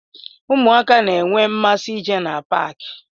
Ụmụaka n'enwe mmasị ije na paaki.